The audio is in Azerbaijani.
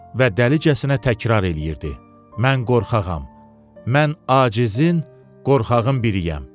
Və dəlicəsinə təkrar eləyirdi: Mən qorxağam, mən acizin, qorxağın biriyəm.